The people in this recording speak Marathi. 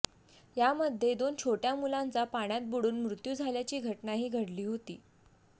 यामध्ये दोन छोट्य़ा मुलांचा पाण्यात बुडून मृत्यू झाल्याची घटनाही घडली होती